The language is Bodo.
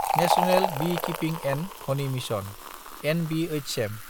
national Beekeeping & Honey Mission (NBHM)